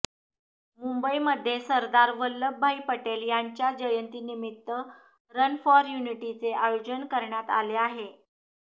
मुंबईमध्ये सरदार वल्लभभाई पटेल यांच्या जयंती निमित्त रन फॉर युनिटीचे आयोजन करण्यात आले आहे